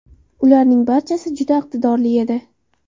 Ularning barchasi juda iqtidorli edi.